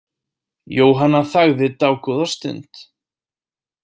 Jóhanna þagði dágóða stund.